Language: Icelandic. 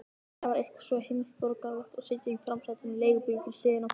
Það var eitthvað svo heimsborgaralegt að sitja í framsætinu í leigubíl við hliðina á pabba.